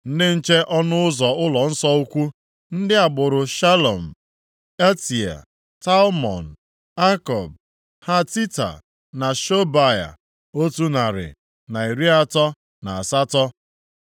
Ndị nche ọnụ ụzọ ụlọnsọ ukwu: ndị agbụrụ Shalum, Atea, Talmon, Akub, Hatita na Shobai otu narị, na iri atọ na asatọ (138).